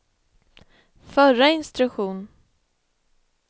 förra instruktion